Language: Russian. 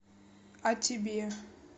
а тебе